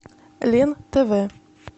лен тв